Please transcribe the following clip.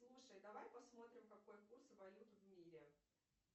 слушай давай посмотрим какой курс валют в мире